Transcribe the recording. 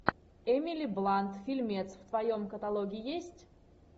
эмили блант фильмец в твоем каталоге есть